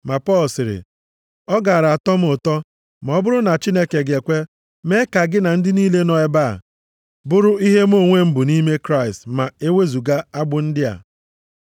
Ma Pọl sịrị, “Ọ gaara atọ m ụtọ ma ọ bụrụ na Chineke ga-ekwe, mee ka gị na ndị niile nọ nʼebe a bụrụ ihe mụ onwe m bụ nʼime Kraịst ma ewezuga agbụ ndị a.”